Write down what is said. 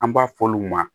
An b'a f'olu ma